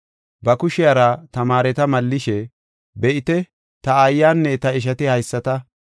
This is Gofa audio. Ba kushiyara tamaareta mallishe, “Be7ite, ta aayanne ta ishati haysata.